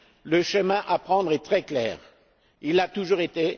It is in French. Le chemin à prendre est très clair, il l'a toujours été.